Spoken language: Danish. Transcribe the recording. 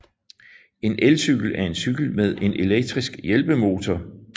En Elcykel er en cykel med en elektrisk hjælpemotor